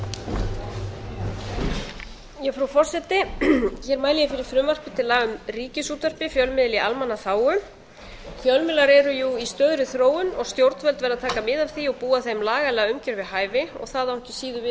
mæli ég fyrir frumvarpi til laga um ríkisútvarpið fjölmiðli í almannaþágu fjölmiðlar eru jú í stöðugri þróun og stjórnvöld verða að taka á af því að búa þeim lagalega umgjörð við hæfi það á ekki síður við um fjölmiðla